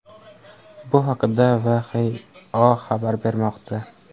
Bu haqda WHIO xabar bermoqda .